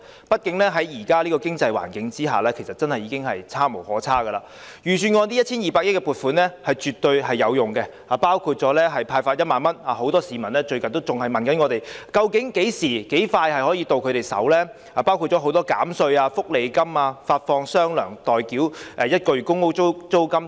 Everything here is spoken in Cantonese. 畢竟現時的經濟環境已是差無可差，預算案這 1,200 億元的撥款是絕對有用的，當中包括派發1萬元——很多市民最近亦向我們查詢最快何時可以取得款項——多項減稅措施、福利金發放"雙糧"、代繳1個月公屋租金等。